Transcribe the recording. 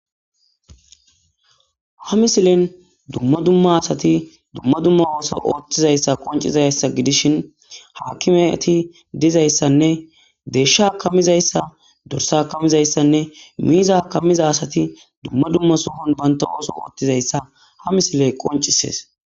ha misilen dumma dumma asati dumma dumma ooso ooththizayssa qoncizayssa gidishin haakimeti dizayssanne deeshsha akamizayssa dorsa akamizayssanne miiza akamiza asati dumma dumma suhon banta ooso ooththizayssa ha misiley qoncisees